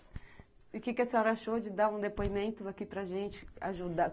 E o que a senhora achou de dar um depoimento aqui para gente?